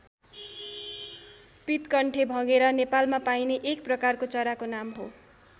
पीतकण्ठे भँगेरा नेपालमा पाइने एक प्रकारको चराको नाम हो।